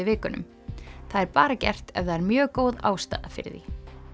vikunum það er bara gert ef það er mjög góð ástæða fyrir því